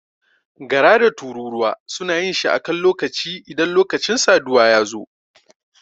Gara da tururuwa suna yin shi a kan lokaci idan lokacin saduwa ya zo.